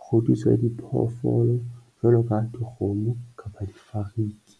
kgodiso ya diphoofolo jwalo ka dikgomo kapa difariki.